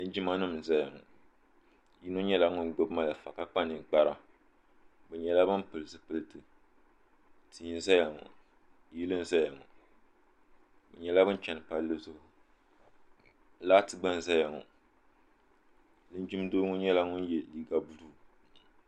Linjima nima n zaya ŋɔ yino nyɛla ŋun gbibi malifa ka kpa ninkpara bɛ nyɛla ban pili zipilti tia n zaya ŋɔ yili n zaya ŋɔ bɛ nyɛla bin cheni palli zuɣu laati gba n zaya ŋɔ linjin'doo ŋɔ nyɛla ŋun ye liiga buluu.